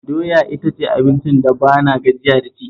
Doya ita ce abincin da ba na gajiya da ci